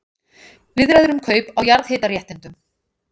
Viðræður um kaup á jarðhitaréttindum